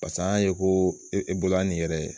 Pas'an y'a ye ko e bolo yan nin yɛrɛ